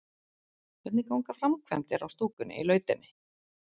Hvernig ganga framkvæmdir á stúkunni í Lautinni?